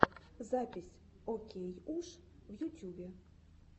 запись окейуш в ютюбе